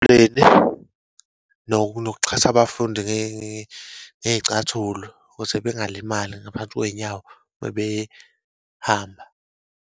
Nokuxhasa abafundi ngey'cathulo ukuze bengalimali ngaphansi kweyinyawo uma behamba.